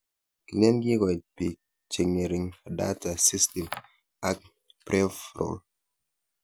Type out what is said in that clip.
Kilen kokoit pik che ng'ering' data system ak pverall